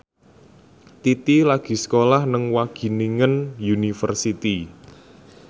Titi lagi sekolah nang Wageningen University